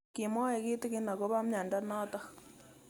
Kimwae kitig'in akopo miondo notok